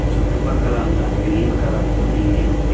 చుట్టుపక్కలంతా green colour తో నిండి ఉంది.